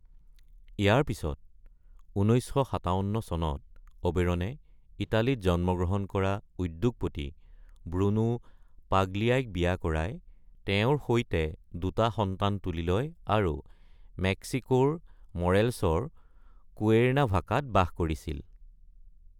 ইয়াৰ পিছত ১৯৫৭ চনত অবেৰনে ইটালীত জন্মগ্ৰহণ কৰা উদ্যোগপতি ব্ৰুনো পাগলিয়াইক বিয়া কৰায় তেওঁৰ সৈতে দুটা সন্তান তুলি লয় আৰু মেক্সিকোৰ মৰেলছৰ কুৱেৰ্নাভাকাত বাস কৰিছিল।